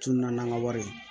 Tununa n'an ka wari